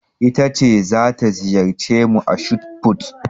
Ita ce za ta wakilce mu a shotput.